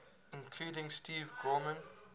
including steve gorman